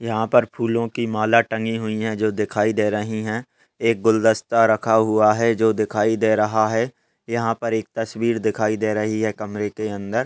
यहा पर फूलों की माला टंगी हुई है जो दिखाई दे रही है एक गुलदस्ता रखा हुआ है जो दिखाई दे रहा है यहा पर एक तस्वीर दिखाई दे रही है कमरे के अंदर।